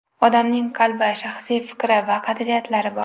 Odamning qalbi, shaxsiy fikri va qadriyatlari bor.